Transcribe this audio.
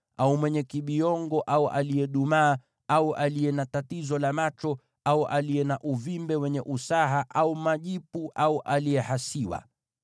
au mwenye kibiongo au aliyedumaa, au aliye na tatizo la macho, au aliye na uvimbe wenye usaha au majipu, au aliyehasiwa.